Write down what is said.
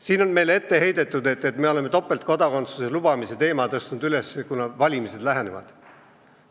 Meile on ette heidetud, et me oleme topeltkodakondsuse lubamise teema tõstnud üles seepärast, et valimised lähevad.